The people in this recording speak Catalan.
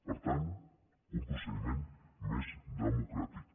per tant un procediment més democràtic